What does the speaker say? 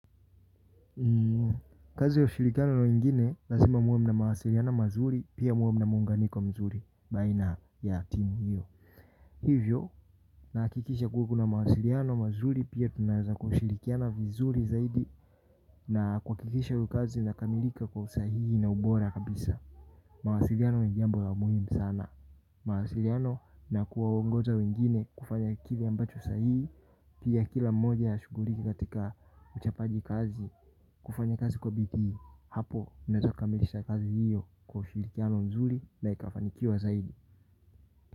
Kazi ya ushirikiano na wengine lazima muwe mna mawasiliano mazuri pia muwe mna muunganiko mzuri baina ya timu hiyo. Hivyo nahakikisha kuwa kuna mawasiliano mazuri pia tunaweza kushirikiana vizuri zaidi. Na kuhakikisha hio kazi inakamilika kwa usahihi na ubora kabisa. Mawasiliano ni jambo la umuhimu sana mawasilano na kuwaongoza wengine kufanya kile ambapo sahihi. Pia kila mmoja ashughulike katika uchapaji kazi. Kufanya kazi kwa bidii. Hapo unaezakamilisha kazi hiyo kwa ushirikiano nzuri na ikafanikiwa zaidi.